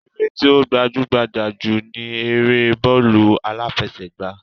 Eré tí ó gbajú-gbajà jù ni eré bọ́ọ̀lù aláfẹsẹ̀gbá